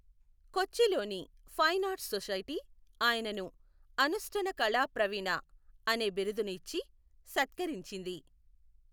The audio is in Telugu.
కొచ్చిలోని ఫైన్ ఆర్ట్స్ సొసైటీ ఆయనను అనుష్టనకళాప్రవీణ అనే బిరుదును ఇచ్చి సత్కరించింది.